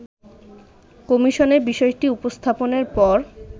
কমিশনে বিষয়টি উপস্থাপনের পর